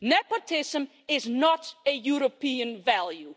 Nepotism is not a European value.